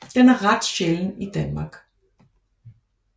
Den er ret sjælden i Danmark